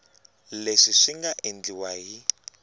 leswi swi nga endliwa hi